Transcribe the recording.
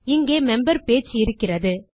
இங்கே member page இருக்கிறது